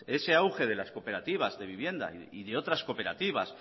ese auge de las cooperativas de vivienda y de otras cooperativas